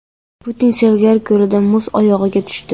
Putin Seliger ko‘lida muz o‘yig‘iga tushdi.